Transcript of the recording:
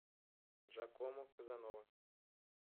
джакомо казанова